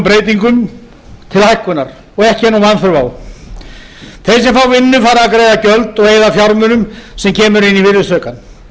breytingum til hækkunar og ekki er nú vanþörf á þeir sem fá vinnu fara að greiða gjöld og eyða fjármunum sem kemur inn í virðisaukann